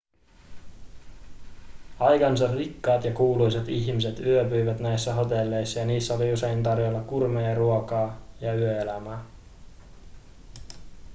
aikansa rikkaat ja kuuluisat ihmiset yöpyivät näissä hotelleissa ja niissä oli usein tarjolla gourmetruokaa ja yöelämää